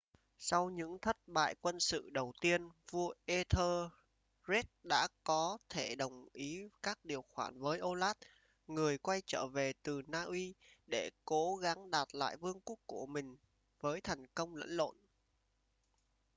sau những thất bại quân sự đầu tiên vua etherlred đã có thể đồng ý các điều khoản với olaf người quay trở về từ na uy để cố gắng đạt lại vương quốc của mình với thành công lẫn lộn